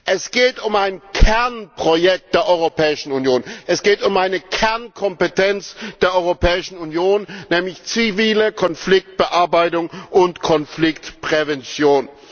Es geht um ein Kernprojekt der Europäischen Union, es geht um eine Kernkompetenz der Europäischen Union, nämlich zivile Konfliktbearbeitung und Konfliktprävention.